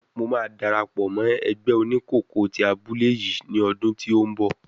Mo máa dárapọ̀ mọ́ ẹgbẹ́ oníkòkó tí abúlé yìí ni ọdún tí ó ń bọ̀.